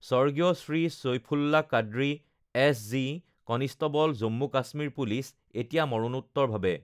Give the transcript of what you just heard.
স্বৰ্গীয় Shri Saifullah Qadri, SG. Constable, Jammu Kashmir police এতিয়া মৰণোত্তৰভাৱে